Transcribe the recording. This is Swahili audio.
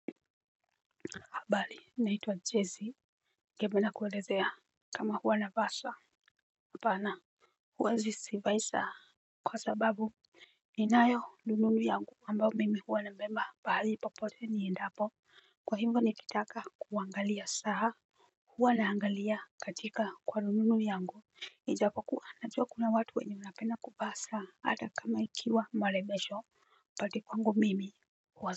Habari naitwa Jessy ningependa kuelezea. Kama huwa navaa saa. Apana. Huwa sivai saa. Kwa sababu ninayo rununu yangu ambayo mimi huwa nabeba mahali popote niendapo. Kwa hivyo nikitaka kuangalia saa huwa naangalia katika kwa rununu yangu ijapokua najua kuna watu wenye mnapenda kuvaa saa hata kama ikiwa marembesho but kwangu mimi huwa.